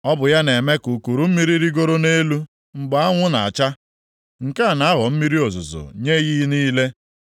“Ọ bụ ya na-eme ka ukuru mmiri rigoro nʼelu mgbe anwụ na-acha, nke a na-aghọ mmiri ozuzo nye iyi niile.